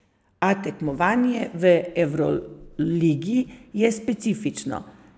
A tekmovanje v evroligi je specifično.